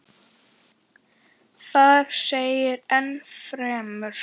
Þar segir enn fremur